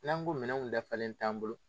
N'an ko minɛnw dafalen t'an bolo